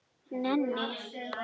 Nenni